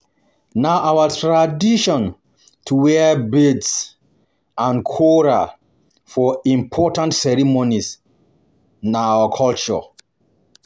Na our tradition to wear beads and coral for important ceremonies, na our culture.